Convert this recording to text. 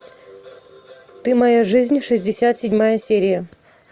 ты моя жизнь шестьдесят седьмая серия